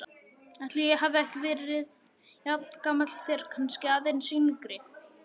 Ætli ég hafi ekki verið jafngamall þér, kannski aðeins yngri.